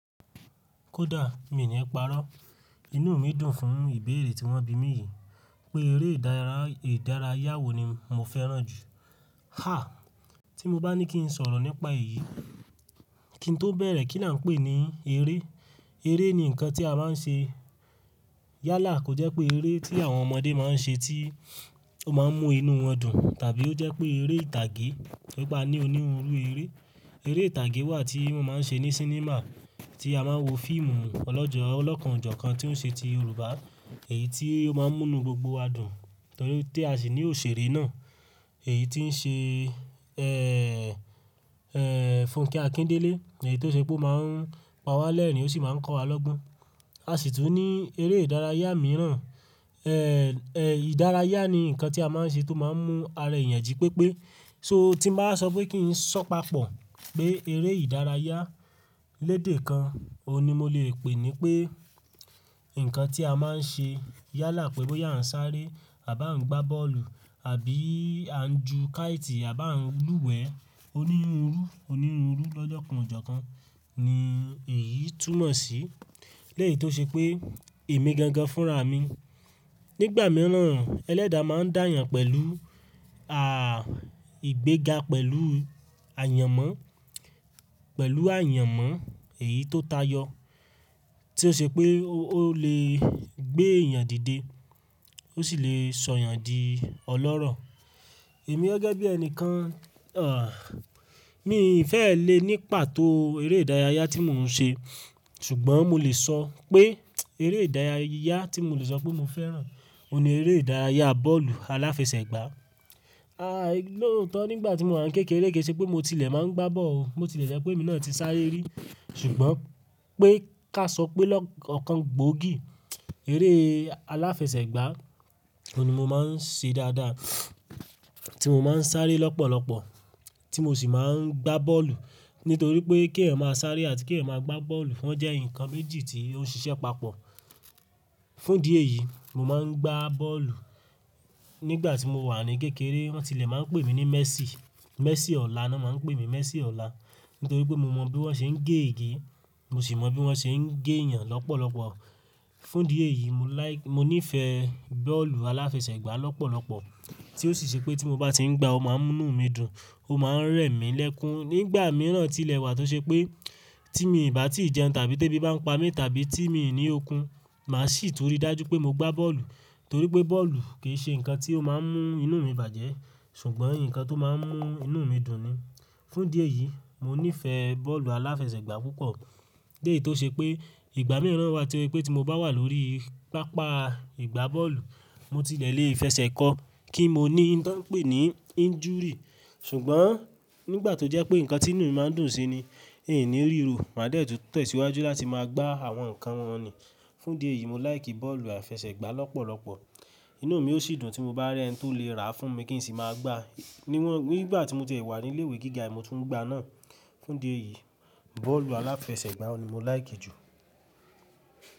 Kódà mi ò ní parọ́, inú mi dùn fún ìbéèrè tí wọ́n bi mí yìí pé eré ìdárayá wo ni mo fẹ́ràn jù. Háà tí mo bá ní kí n sọ̀rọ̀ nípa èyí, kí n tó bẹ̀rẹ̀ kí n à ń pè ní eré. Eré ni nǹkan tí a máa ń ṣe. Yálà kò jẹ́ pé eré tí àwọn ọmọdé máa ń ṣe tí ó máa ń mú inú wọn dùn, tàbí ó jẹ́ pé eré ìtàgé, wí pe aní onírúurú eré. Eré ìtàgé wà tí wọ́n máa ń ṣe ní sínímà tí a máa ń wo fíìmù ọlọ́jọ́ ọlọ́kàn jọ̀kan tí ó ń ṣe ti Yorùbá èyí tí ó máa ń mú inú gbogbo wa dùn torí pé a sì ní òṣèré náà èyí tí ń ṣe, eh, eh, Fúnkẹ́ Akíndélé èyí tó ṣe pé ó máa ń pa wá lẹ́rìn-ín ó sì máa ń kọ́ wa lọ́gbon. A sì tún ní eré ìdárayá mìíràn, eh, eh, ìdárayá ni nǹkan tí a máa ń ṣe tó máa ń mú ara èèyàn jí pépé. So tí bá sọ pé kí n sọ papọ̀ pé eré ìdárayá lédè kan, òun ni mo lè pè ní pé nǹkan tí a máa ń ṣe yálà pẹ̀lú pé bóyá a ń sáré àbí a ń gbá bọ́ọ̀lù àbí a ń ju káítì àbí a ń lúwẹ̀ẹ́ onírúurú, onírúurú lọ́jọ́ kan ọ̀jọ̀kan ni èyí túmọ̀ sí. Lẹ́yìn tó ṣe pé èmi gangan fúnra mi. Nígbà mìíràn ẹlẹ́da máa ń dáyan pẹ̀lú, à, ìgbéga pẹ̀lú àyànmọ́, pẹ̀lú àyànmọ́ èyí tó tayọ. Tí ó ṣe pé ó lè gbé èèyàn dìde ó sì lè sọ èèyàn di ọlọ́rọ̀. Èmi gẹ́gẹ́ bí ẹni kan, àh, mi fẹ́ lè ní pàtó eré ìdárayá tí mò ń ṣe. Ṣùgbọ́n mo lè sọ pé eré ìdárayá tí mo lè sọ pé mo fẹ́ràn òun ni eré ìdárayá bọ́ọ̀lù aláfẹsẹ̀gbá. Like lọ́otan, nígbà tí mo wà ní kékeré kí i ṣe pé mo tilẹ̀ máa ń gbá bọ́ọ̀lù. Mo tilẹ̀ ṣẹ́ pé emi náà ti sáré rí. Ṣùgbọ́n pé ká sọ pé lọ́-- ọ̀kan gbòógì, eré aláfẹsẹ̀gbá òun ni mo máa ń ṣe dáadáa tí mo máa ń sáré lọ́pọ̀lọpọ̀ tí mo sì máa ń gbá bọ́ọ̀lù. Nítorí pé kí ẹ̀ máa sáré àti kí ẹ̀ máa gbá bọ́ọ̀lù wọ́n jẹ́ nǹkan méjì tí ó ń ṣiṣẹ́ papọ̀. Fún idí eyìí mo máa ń gbá bọ́ọ̀lù nígbà tí mo wà ní kékeré wọ́n tilẹ̀ máa ń pè mí ní Messi, Messi ọ̀la ni won máa ń pè mí Messi ọ̀la. Nítorí pé mo mọ bí wọ́n ṣe ń gé ege mo sì mọ bí wọ́n ṣe ń gé èèyàn lọ́pọ̀lọpọ̀. Fún idí ẹ̀yìí mo like-- mo nífẹ̀ẹ́ bọ́ọ̀lù aláfẹsẹ̀gbá lọ́pọ̀lọpọ̀ tí ó sì ṣe pé tí mo bá tí ń gbá ó máa ń mú inú mi dùn ó máa ń rẹ̀ mí lẹ́kún. Nígbà mìíràn tilẹ̀ wà tó ṣe pé tí mi ì bá tí ì jẹun tàbí tẹ́bí bá ń pa mí tàbí tí mi ò ní okun má sì tun rí dájú pé mo gbá bọ́ọ̀lù torí pé bọ́ọ̀lù kì í ṣe nǹkan tí ó máa ń mú inú mi bàjẹ́ ṣùgbọ́n nǹkan tó máa ń mú inú mi dùn ni. Fún díẹ̀ yìí mo nífẹ̀ẹ́ bọ́ọ̀lù aláfẹsẹ̀gbá púpọ̀. Lẹ́ yìi tó ṣe pé ìgbà mìíràn wà tí ó ṣe pé tí mo bá wà lórí pápá ìgbá bọ́ọ̀lù mo tilẹ̀ lé fẹsẹ̀ kọ kí mo ní nǹkan pé ni injury. Ṣùgbọ́n nígbà tó jẹ́ pé nǹkan tí inú mi máa ń dùn sí ni hin ni ríro màá de tun tẹ̀síwájú láti máa gbá àwọn nǹkan wọn ni. Fún idí ẹ̀yìí, mo like bọ́ọ̀lù aláfẹsẹ̀gbá lọ́pọ̀lọpọ̀. Inú mi ó sì dùn tí mo bá rí ẹni tó lè rà á fún mi kí n sì máa gbá. Niwọn-- nígbà tí mo ti wà ní ilé ìwé gíga è mi mo tún ń gbá náà. Fún díẹ̀ yìí bọ́ọ̀lù aláfẹsẹ̀gbá òun ni mo like jù.